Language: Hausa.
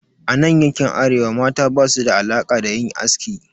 A nan yankin Arewa, mata basu da alaka da yin aski.